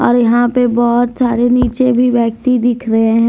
और यहां पे बहुत सारे नीचे भी बैठी दिख रहे हैं।